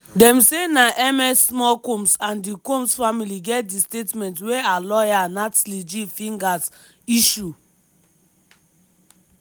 dem say na ms small combs and the combs family get di statement wey her lawyer natlie g figgers issue.